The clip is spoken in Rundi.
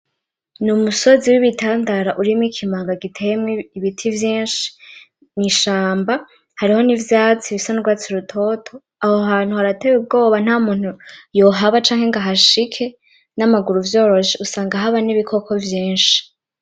Ni umusozi w'ibitandara urimwo ikimanga giteyemwo ibiti vyinshi mwishamba. Hariho n'ivyatsi bisa n'urwatsi rutoto. Aho hantu harateye ubwoba nta muntu yohaba canke ngo ahashike n'amaguru vyoroshe. Usanga haba n'ibikoko vyinshi.